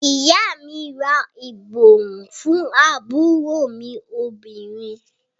Ìyá à mi ra ìborùn fún àbúrò mí obìnrin.